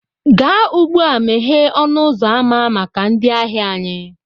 Gaa ugbu a, meghee ọnụ ụzọ ámá maka ndị ahịa anyị